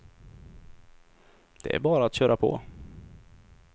Det är bara att köra på.